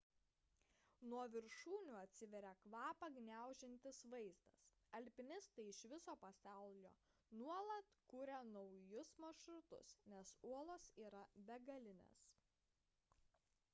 nuo viršūnių atsiveria kvapą gniaužiantis vaizdas alpinistai iš viso pasaulio nuolat kuria naujus maršrutus nes uolos yra begalinės